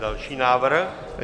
Další návrh.